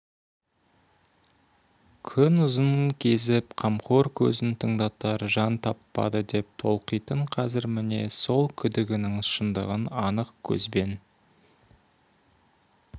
күн ұзын кезіп қамқор сөзін тыңдатар жан таппады деп толқитын қазір міне сол күдігінің шындығын анық көзбен